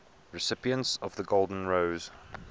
recipients of the golden rose